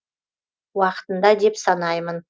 уақытында деп санаймын